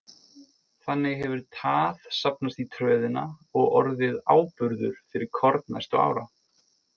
Þannig hefur tað safnast í tröðina og orðið áburður fyrir korn næstu ára.